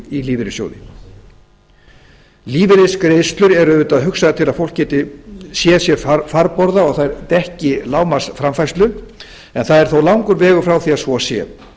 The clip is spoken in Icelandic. í lífeyrissjóði lífeyrisgreiðslur eru auðvitað hugsaðar til að fólk geti séð séð farborða og þær dekki lágmarksframfærslu en það er þó langur vegur frá því að svo sé